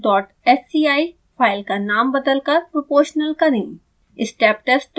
steptest dot sci file का नाम बदलकर proportional करें